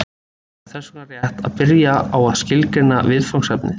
Það er þess vegna rétt að byrja á að skilgreina viðfangsefnið.